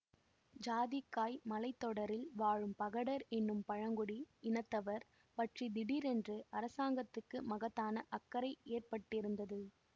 ஜாதிக்காய் மலை தொடரில் வாழும் பகடர் என்னும் பழங்குடி இனத்தவர் பற்றி திடீரென்று அரசாங்கத்துக்கு மகத்தான அக்கறை ஏற்பட்டிருந்தது